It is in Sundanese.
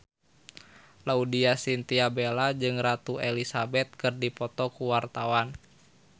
Laudya Chintya Bella jeung Ratu Elizabeth keur dipoto ku wartawan